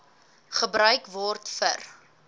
gebruik word vir